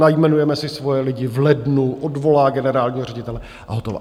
Najmenujeme si svoje lidi v lednu, odvolá generálního ředitele, a hotovo.